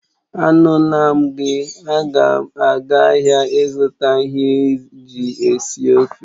Anula m gi, aga m aga ahịa ịzụta ihe eji esi ofe